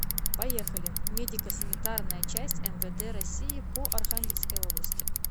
поехали медико санитарная часть мвд россии по архангельской области